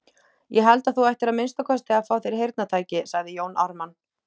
Ég held að þú ættir að minnsta kosti að fá þér heyrnartæki, sagði Jón Ármann.